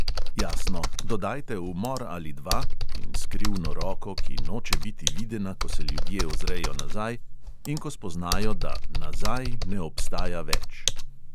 Jasno, dodajte umor ali dva – in skrivno roko, ki noče biti videna, ko se ljudje ozrejo nazaj … in ko spoznajo, da "nazaj" ne obstaja več.